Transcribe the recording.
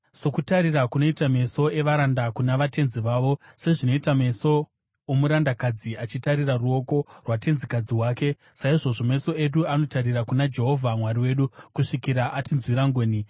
Sokutarira kunoita meso evaranda kuna vatenzi vavo, sezvinoita meso omurandakadzi achitarira ruoko rwatenzikadzi wake, saizvozvo meso edu anotarira kuna Jehovha Mwari wedu, kusvikira atinzwira ngoni.